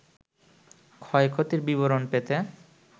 ক্ষয়ক্ষতির বিবরণ পেতে